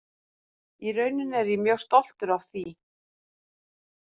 Í rauninni er ég mjög stoltur af því.